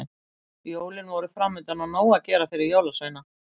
Jólin voru framundan og nóg að gera fyrir jólasveina.